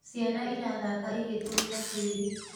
Ciana irathaka igĩtũmĩra tĩri.